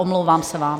Omlouvám se vám.